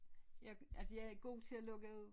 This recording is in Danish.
Jeg altså jeg er god til at lukke af